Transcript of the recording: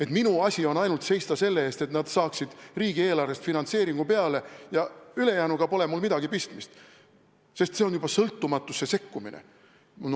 Et minu asi on ainult seista selle eest, et nad saaksid riigieelarvest finantseeringu peale ja ülejäänuga pole mul midagi pistmist, sest see on juba sõltumatusse sekkumine?